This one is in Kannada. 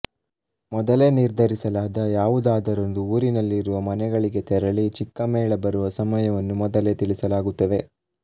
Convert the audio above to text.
ಮೊದಲೇ ನಿರ್ಧರಿಸಲಾದ ಯಾವುದಾದರೊಂದು ಊರಿನಲ್ಲಿರುವ ಮನೆಗಳಿಗೆ ತೆರಳಿ ಚಿಕ್ಕ ಮೇಳ ಬರುವ ಸಮಯವನ್ನು ಮೊದಲೇ ತಿಳಿಸಲಾಗುತ್ತದೆ